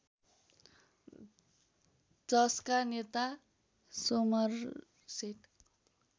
जसका नेता सोमरसेट